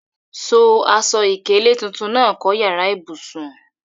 So aṣọ ìkélé tuntun náà kọ́ yàrá ìbùsùn.